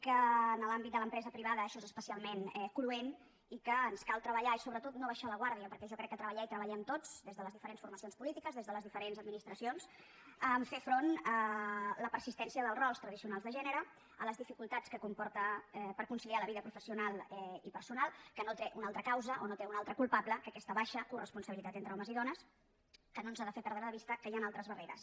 que en l’àmbit de l’empresa privada això és especialment cruent i que ens cal treballar i sobretot no abaixar la guàrdia perquè jo crec que treballar hi treballem tots des de les diferents formacions polítiques des de les diferents administracions a fer front a la persistència dels rols tradicionals de gènere a les dificultats que comporta per conciliar la vida professional i personal que no té una altra causa o no té un altre culpable que aquesta baixa coresponsabilitat entre homes i dones que no ens ha de fer perdre de vista que hi han altres barreres